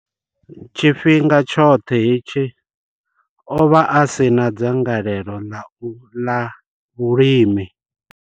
Tshifhinga tshoṱhe hetshi, o vha a si na dzangalelo ḽa ula la vhulimi.